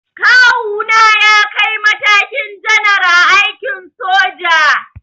Kawuna ya kai matakin janar a aikin soja.